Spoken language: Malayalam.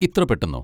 ഇത്ര പെട്ടന്നോ!